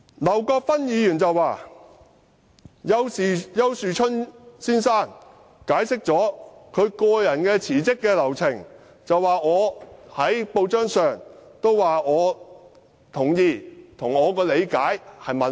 劉國勳議員說，丘樹春先生已經解釋他辭職的流程，而我在報章上也表示同意，並指出與我的理解吻合。